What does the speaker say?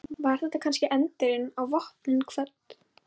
Var þetta kannski endirinn á Vopnin kvödd?